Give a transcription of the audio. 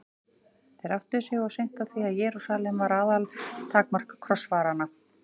Þeir áttuðu sig of seint á því að Jerúsalem var aðaltakmark krossfaranna.